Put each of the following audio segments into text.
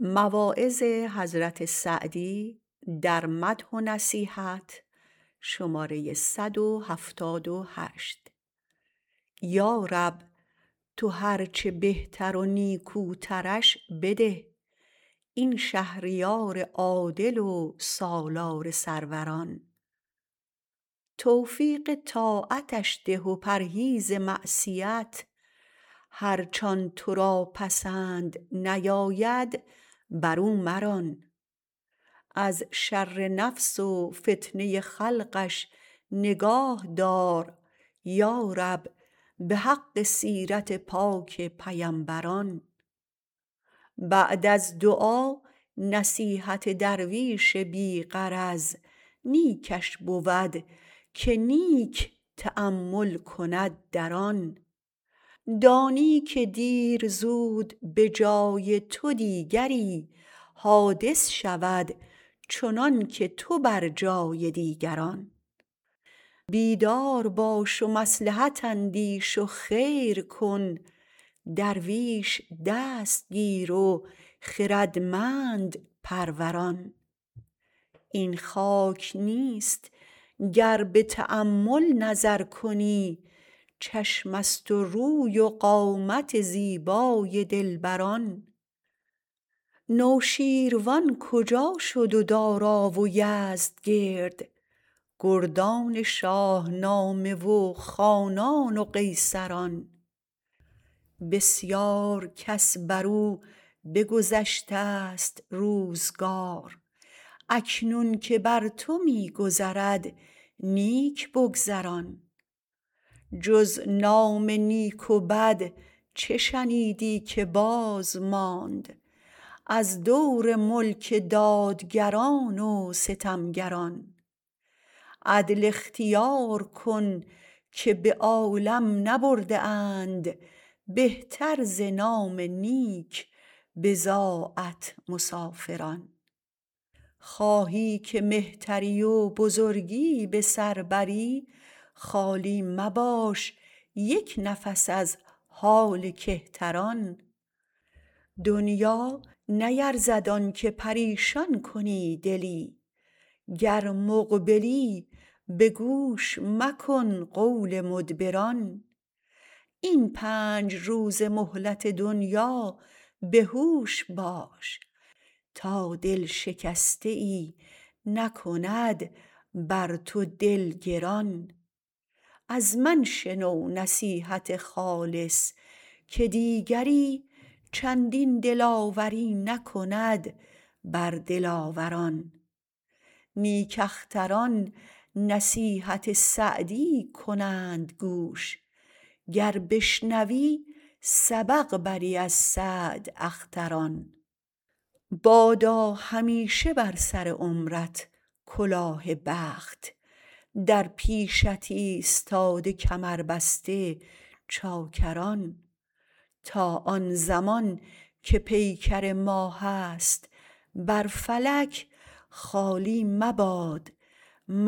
یارب تو هرچه بهتر و نیکوترش بده این شهریار عادل و سالار سروران توفیق طاعتش ده و پرهیز معصیت هرچ آن تو را پسند نیاید بر او مران از شر نفس و فتنه خلقش نگاه دار یارب به حق سیرت پاک پیمبران بعد از دعا نصیحت درویش بی غرض نیکش بود که نیک تأمل کند در آن دانی که دیر زود به جای تو دیگری حادث شود چنانکه تو بر جای دیگران بیدار باش و مصلحت اندیش و خیر کن درویش دست گیر و خردمند پروران این خاک نیست گر به تأمل نظر کنی چشم ست و روی و قامت زیبای دلبران نوشیروان کجا شد و دارا و یزدگرد گردان شاهنامه و خانان و قیصران بسیار کس برو بگذشتست روزگار اکنون که بر تو می گذرد نیک بگذران جز نام نیک و بد چه شنیدی که بازماند از دور ملک دادگران و ستمگران عدل اختیار کن که به عالم نبرده اند بهتر ز نام نیک بضاعت مسافران خواهی که مهتری و بزرگی به سر بری خالی مباش یک نفس از حال کهتران دنیا نیرزد آن که پریشان کنی دلی گر مقبلی به گوش مکن قول مدبران این پنج روزه مهلت دنیا به هوش باش تا دل شکسته ای نکند بر تو دل گران از من شنو نصیحت خالص که دیگری چندین دلاوری نکند بر دلاوران نیک اختران نصیحت سعدی کنند گوش گر بشنوی سبق بری از سعداختران بادا همیشه بر سر عمرت کلاه بخت در پیشت ایستاده کمربسته چاکران تا آن زمان که پیکر ما هست بر فلک خالی مباد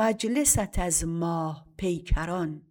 مجلست از ماه پیکران